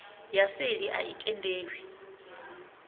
ya seli a i tendelwi